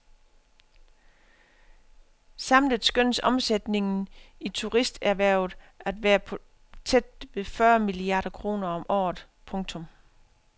Samlet skønnes omsætningen i turisterhvervet at være på tæt ved fyrre milliarder kroner om året. punktum